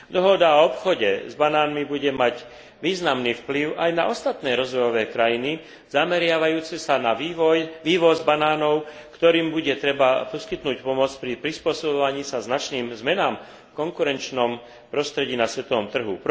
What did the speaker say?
Dohoda o obchode s banánmi bude mať významný vplyv aj na ostatné rozvojové krajiny zameriavajúce sa na vývoz banánov, ktorým bude treba poskytnúť pomoc pri prispôsobovaní sa značným zmenám v konkurenčnom prostredí na svetovom trhu.